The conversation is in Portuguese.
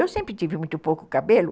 Eu sempre tive muito pouco cabelo.